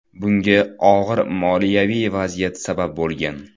Bunga og‘ir moliyaviy vaziyat sabab bo‘lgan.